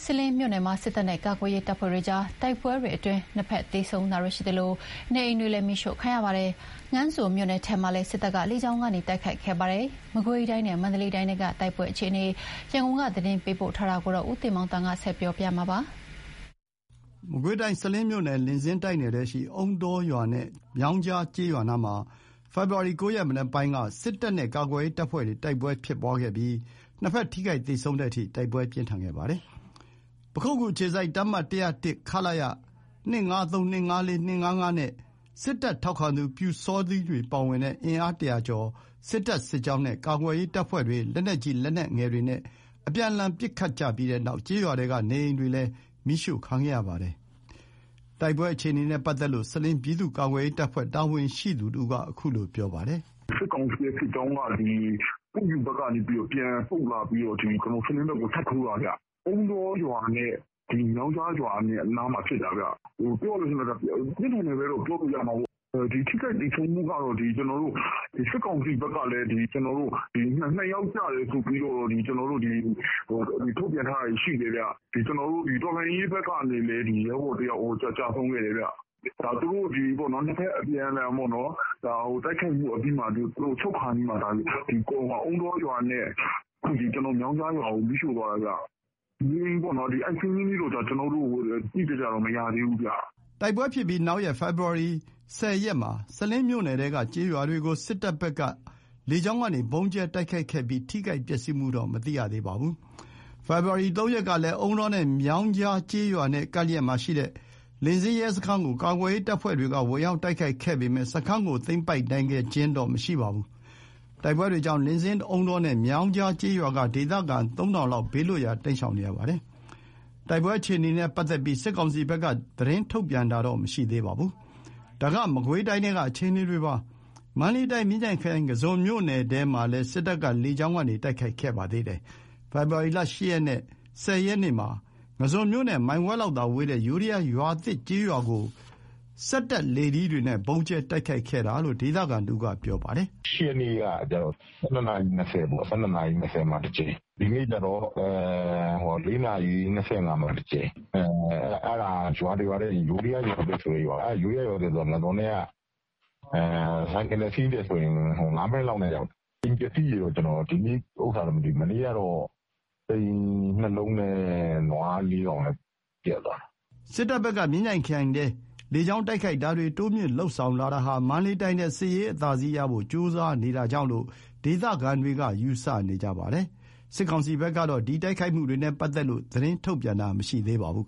စလင်းမြို့နယ်မှာ စစ်တပ်နဲ့ ကာကွယ်ရေးတပ်ဖွဲ့ကြား တိုက်ပွဲတွေအတွင်း နှစ်ဘက် သေဆုံးတာတွေရှိသလို နေအိမ်တွေလည်း မီးရှို့ခံရပါတယ်။ ငါန်းဇွန်မြို့နယ်ထဲမှာလည်း စစ်တပ်က လေကြောင်းကနေ တိုက်ခိုက်ခဲ့ပါတယ်။ မကွေးတိုင်းနဲ့ မန္တလေးတိုင်းထဲက တိုက်ပွဲအခြေအနေ ရန်ကုန်က သတင်းပေးပို့ထားပါတယ်။ မကွေးတိုင်း၊ စလင်းမြို့နယ်၊ လင်းဇင်းတိုက်နယ်ထဲရှိ အုန်းတောရွာနဲ့ မြောင်းကြားကျေးရွားနားမှာ ဖေဖော်ဝါရီ ၉ ရက် မနက်ပိုင်းက စစ်တပ်နဲ့ ကာကွယ်ရေးတပ်ဖွဲ့တွေ တိုက်ပွဲဖြစ်ခဲ့ပြီး နှစ်ဘက် ထိခိုက်သေဆုံးတဲ့အထိ တိုက်ပွဲပြင်းထန်ခဲ့ပါတယ်။ ပခုက္ကူအခြေစိုက် တပ်မ ၁၀၁ ခလရ (၂၅၃-၂၅၄-၂၅၅) နဲ့ စစ်တပ်ထောက်ခံသူ ပျူစောထီးတွေ ပါဝင်တဲ့ အင်အား ၁၀၀ ကျော် စစ်တပ် စစ်ကြောင်းနဲ့ ကာကွယ်ရေးတပ်ဖွဲ့တွေ လက်နက်ကြီး လက်နက်ငယ်တွေနဲ့ အပြန်အလှန် ပစ်ခတ်ကြပြီးတဲ့နောက် ကျေးရွာထဲက နေအိမ်တွေလည်း မီးရှို့ခံခဲ့ရပါတယ်။ တိုက်ပွဲအခြေအနေနဲ့ ပတ်သက်လို့ စလင်း ပြည်သူ့ကာကွယ်ရေးတပ်ဖွဲ့ တာဝန်ရှိသူတဦးက အခုလို ပြောပါတယ်။ "စစ်ကောင်စီရဲ့ စစ်ကြောင်းက ပွင့်ဖြူဘက်ကနေ ပြန်ဆုတ်လာပြီးတော့ စလင်းဘက်ကို ထပ်ထိုးတာခင်ဗျ။ အုန်းတောရွာနဲ့ မြောင်းကြားရွာကြားမှာဖြစ်တာ။ ပြောရမယ်ဆိုရင် ပြင်းထန်တယ်ပဲပြောရမှာပေါ့။ ထိခိုက်သေဆုံးမှုက စစ်ကောင်စီဘက်ကလည်း နှစ်ယောက် ကျတယ်ဆိုပြီးတော့ သတင်းတွေ ထုတ်ပြန်ထားပါတယ်။ တော်လှန်ရေးဘက်ကလည်း ရဲဘော်တယောက် ကျဆုံးခဲ့တယ်ခင်ဗျ။ နှစ်ဘက် အပြန်အလှန် တိုက်ခိုက်မှုအပြီးမှာ ဆုတ်ခါနီးမှာ သူတို့က အုန်းတောရွာနဲ့ မြောင်းကြားရွာကို မီးရှို့သွားတယ်။ နေအိမ်စာရင်း အတိအကျတော့ မရသေးဘူးခင်ဗျ။" တိုက်ပွဲဖြစ်ပြီးနောက်ရက် ဖေဖော်ဝါရီ ၁၀ ရက်မှာ စလင်းမြို့နယ်ထဲက ကျေးရွာတွေကို စစ်တပ်ဘက်က လေကြောင်းကနေ ဗုံးကြဲတိုက်ခိုက်ခဲ့ပြီး ထိခိုက်ပျက်စီးမှုတော့ မသိရသေးပါဘူး။ ဖေဖော်ဝါရီ ၃ ရက်ကလည်း အုန်းတောနဲ့ မြောင်းကြားကျေးရွာနဲ့ ကပ်လျက်မှာရှိတဲ့ လင်းဇင်းရဲစခန်းကို ကာကွယ်ရေးတပ်ဖွဲ့တွေက ဝင်ရောက်တိုက်ခိုက်ခဲ့ပေမယ့် စခန်းကို သိမ်းပိုက်နိုင်ခဲ့ခြင်းတော့ မရှိပါဘူး။ တိုက်ပွဲတွေကြောင့် လင်းဇင်၊း အုန်းတောနဲ့ မြောင်းကြားကျေးရွာက ဒေသခံ ၃,၀၀၀ လောက် ဘေးလွတ်ရာ တိမ်းရှောင်နေရပါတယ်။ တိုက်ပွဲအခြေအနေနဲ့ ပတ်သက်ပြီး စစ်ကောင်စီဘက်က သတင်းထုတ်ပြန်တာတော့ မရှိသေးပါဘူး။ ဒါက မကွေးတိုင်းထဲက အခြေအနေတွေပါ။ မန္တလေးတိုင်း မြင်းခြံခရိုင် ငါန်းဇွန်မြို့နယ်ထဲမှာလည်း စစ်တပ်က လေကြောင်းကနေ တိုက်ခိုက်ခဲ့ပါတယ်။ ဖေဖော်ဝါရီ ၈ ရက်နဲ့ ၁၀ ရက်နေ့မှာ ငါန်းဇွန်မြို့နဲ့ မိုင်ဝက်လောက်သာဝေးတဲ့ ယိုးဒယား ရွာသစ်ကျေးရွာကို စက်တပ် လေထီးတွေနဲ့ ဗုံးကြဲ တိုက်ခိုက်ခဲ့တာလို့ ဒေသခံတဦးက ပြောပါတယ်။ "၈ ရက်နေ့က ၁၂ နာရီ ၂၀ မှာ တကြိမ်၊ ဒီနေ့ကျတော့ ၄ နာရီ ၂၅ မှာတကြိမ်၊ အဲ့ဒါက ရွာတရွာတည်း၊ ယိုးဒယားရွာသစ်ဆိုတဲ့ရွာ၊ အဲ့ရွာက ငါန်းဇွန်နဲ့က ဆိုင်ကယ်နဲ့စီးရင် ၅ မိနစ်လောက်ဆိုရောက်တယ်။ အိမ်ပျက်စီးတာ ဒီနေ့ဟာတော့မသိဘူး။ မနေ့ကဟာက အိမ် ၂ လုံးနဲ့ နွား ၄ ကောင် ပျက်သွားတယ်။" စစ်တပ်ဘက်က မြင်းခြံခရိုင်ထဲ လေကြောင်းတိုက်ခိုက်တာတွေ တိုးမြှင့်လုပ်ဆောင်လာတာဟာ မန္တလေးတိုင်းထဲ စစ်ရေးအသာစီးရဖို့ ကြိုးစားနေတာကြောင့်လို့ ဒေသခံတွေက ယူဆနေကြပါတယ်။ စစ်ကောင်စီဘက်ကတော့ ဒီတိုက်ခိုက်မှုတွေနဲ့ ပတ်သက်ပြီး သတင်းထုတ်ပြန်တာ မရှိပါဘူး